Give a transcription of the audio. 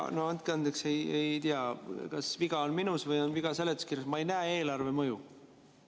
No andke andeks, ei tea, kas viga on minus või viga on seletuskirjas, aga ma ei näe eelarvemõju.